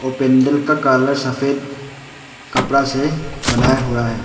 पैंडल का काला सफेद कपड़ा से बनाया हुआ है।